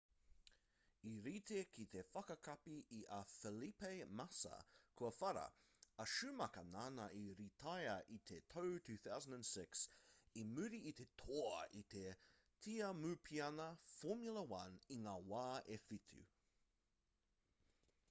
i rite ki te whakakapi i a felipe massa kua whara a schumacher nāna i rītaia i te tau 2006 i muri i te toa i te tiamupiana formula 1 i ngā wā e whitu